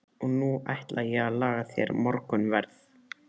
Og nú ætla ég að laga þér morgunverð.